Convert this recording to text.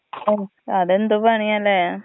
ഉം അതെന്ത് പണിയാണ്ല്ലെ.